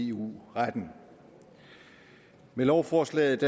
eu retten med lovforslaget